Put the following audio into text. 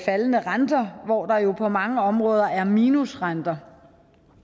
faldende renter hvor der jo på mange områder er minusrenter